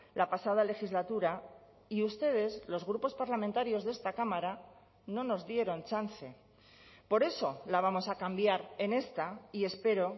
la pasada legislatura y ustedes los grupos parlamentarios de esta cámara no nos dieron chance por eso la vamos a cambiar en esta y espero